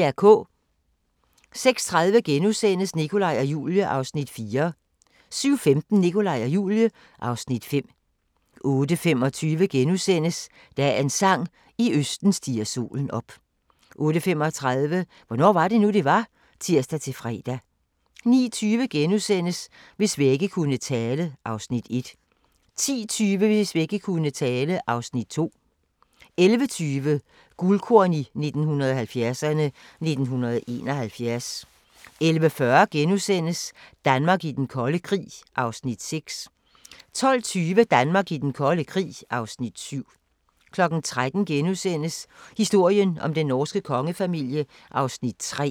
06:30: Nikolaj og Julie (Afs. 4)* 07:15: Nikolaj og Julie (Afs. 5) 08:25: Dagens sang: I østen stiger solen op * 08:35: Hvornår var det nu, det var? (tir-fre) 09:20: Hvis vægge kunne tale (Afs. 1)* 10:20: Hvis vægge kunne tale (Afs. 2) 11:20: Guldkorn 1970'erne: 1971 11:40: Danmark i den kolde krig (Afs. 6)* 12:20: Danmark i den kolde krig (Afs. 7) 13:00: Historien om den norske kongefamilie (3:7)*